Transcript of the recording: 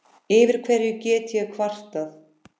Yfir hverju get ég kvartað?